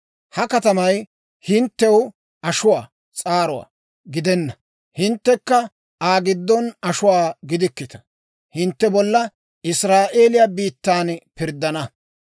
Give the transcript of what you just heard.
Ha katamay hinttew ashuwaa s'aaruwaa gidenna; hinttekka Aa giddon ashuwaa gidikkita. Hintte bolla Israa'eeliyaa biittan pirddana.